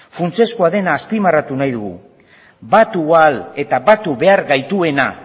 funtsezkoa dena azpimarratu nahi dugu batu ahal eta batu behar gaituena